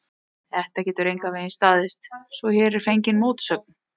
Þetta getur engan veginn staðist, svo hér er fengin mótsögn.